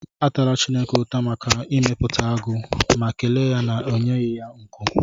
Atala Chineke ụta maka ịmepụta agụ, ma kelee ya maka inyeghị ya nku.